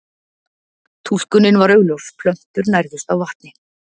Túlkunin var augljós, plöntur nærðust á vatni.